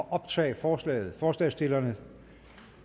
at optage forslaget forslagsstillerne